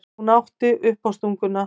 Hún átti uppástunguna.